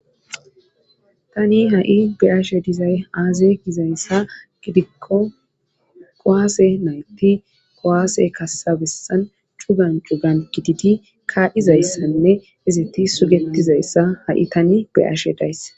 Tani ha'i beyaashe dizay aaze gizayssa gidikko kowaase nayti kowaase kassabessan chugan cugan gididi kaizayssanne izati sugetizayssa ha'i tani beyashe dayssa.